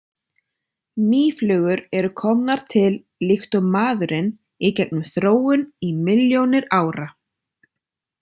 Mýflugur eru komnar til líkt og maðurinn í gegnum þróun í milljónir ára.